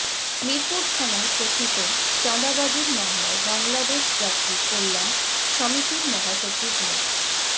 মিরপুর থানার কথিত চাদাঁবাজির মামলায় বাংলাদেশ যাত্রী কল্যাণ সমিতির মহাসচিব মো